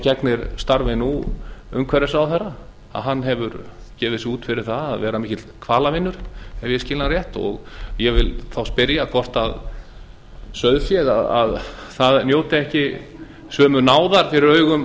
gegnir starfi umhverfisráðherra nú hefur gefið sig út fyrir það að vera mikill hvalavinur ef ég skil hann rétt og ég vil þá spyrja hvort sauðfé njóti ekki sömu náðar fyrir augum